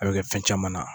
A bɛ kɛ fɛn caman na